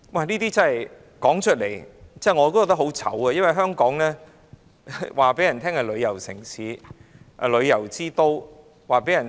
這些事我說出來也感到羞耻，我們對外宣稱香港是旅遊城市、旅遊之都。